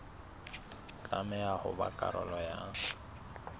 tlameha ho ba karolo ya